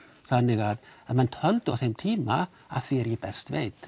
þannig menn töldu á þeim tíma að því er ég best veit